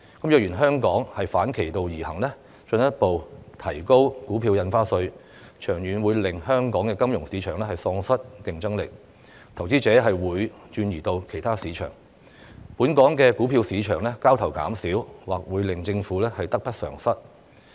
若然香港反其道而行，進一步提高股票印花稅，長遠會令香港金融市場喪失競爭力，投資者便會轉移至其他市場。本港股票市場交投減少，或會令政府得不償失。